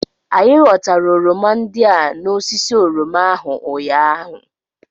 Anyị ghọtara oroma ndị a n'osisi oroma ahụ ụnyaahụ